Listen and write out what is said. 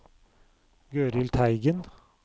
Gøril Teigen